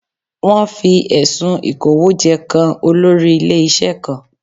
Wọ́n fi ẹ̀sùn Ìkówójẹ kan olórí ilé-iṣẹ́ kan